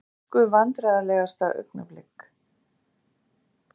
Ensku Vandræðalegasta augnablik?